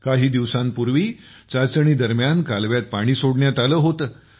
काही दिवसांपूर्वी चाचणी दरम्यान कालव्यात पाणी सोडण्यात आले होते